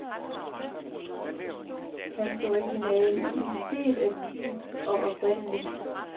Hans originalitet er dyb og oprindelig.